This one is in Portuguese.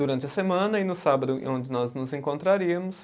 Durante a semana e no sábado, e onde nós nos encontraríamos.